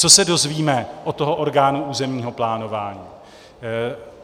Co se dozvíme od toho orgánu územního plánování?